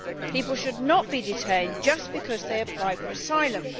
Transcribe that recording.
People should not be detained just because they apply for asylum.